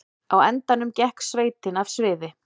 Á endanum gekk sveitin af sviði